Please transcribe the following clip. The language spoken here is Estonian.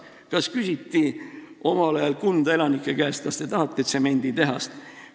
Kas küsiti omal ajal Kunda elanike käest, kas te tahate tsemenditehast?